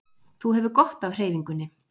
Þú hefur gott af hreyfingunni